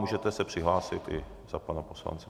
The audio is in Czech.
Můžete se přihlásit i za pana poslance.